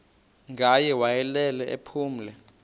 ngaye wayelele ephumle